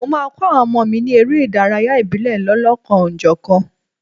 Mo máa kọ́ àwọn ọmọ mi ní eré ìdárayá ìbílẹ̀ lọ́lọ́kan-ò-jọ̀kan.